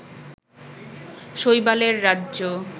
শৈবালের রাজ্য